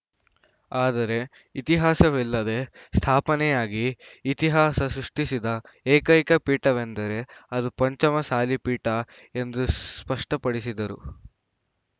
ಆದರೆ ಇತಿಹಾಸವಿಲ್ಲದೇ ಸ್ಥಾಪನೆಯಾಗಿ ಇತಿಹಾಸ ಸೃಷ್ಟಿಸಿದ ಏಕೈಕ ಪೀಠವೆಂದರೆ ಅದು ಪಂಚಮಸಾಲಿ ಪೀಠ ಎಂದು ಸ್ ಸ್ಪಷ್ಟಪಡಿಸಿದರು